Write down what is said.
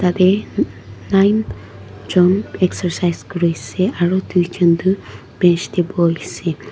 tatae nine jon excercise kuriase aru tuijon tu bench tae boiase.